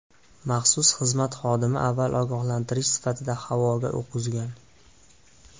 Maxsus xizmat xodimi avval ogohlantirish sifatida havoga o‘q uzgan.